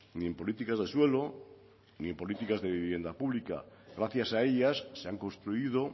ni en políticas de suelo ni en políticas de vivienda pública gracias a ellas se han construido